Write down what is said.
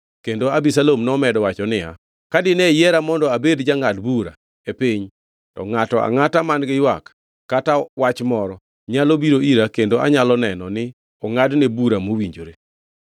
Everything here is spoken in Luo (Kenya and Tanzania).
Kendo Abisalom nomedo wacho niya, “Ka dine yiera mondo abed jangʼad bura e piny, to ngʼato angʼata man-gi ywak kata wach moro, nyalo biro ira kendo anyalo neno ni ongʼadne bura mowinjore.”